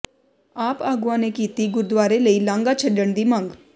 ਆਪ ਆਗੂਆਂ ਨੇ ਕੀਤੀ ਗੁਰਦੁਆਰੇ ਲਈ ਲਾਂਘਾ ਛੱਡਣ ਦੀ ਮੰਗ